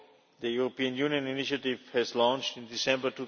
The European Union initiative was launched in December